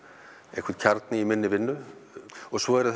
einhvern kjarna í minni vinnu og svo eru